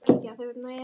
En ég var svo hrædd.